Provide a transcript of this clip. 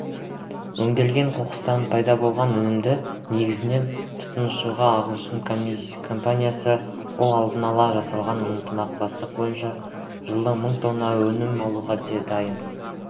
өңделген қоқыстан пайда болған өнімді негізгі тұтынушы ағылшынның компаниясы ол алдын ала жасалған ынтымақтастық бойынша жылына мың тонна өнім алуға дайын